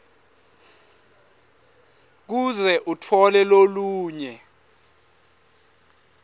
kuze utfole lolunye